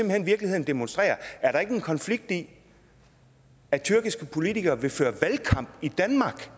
hen virkeligheden demonstrerer er der ikke en konflikt i at tyrkiske politikere vil føre valgkamp i danmark for